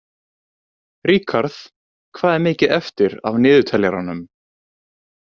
Ríkharð, hvað er mikið eftir af niðurteljaranum?